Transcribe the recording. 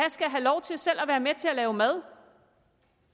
have lov til selv at være med til at lave mad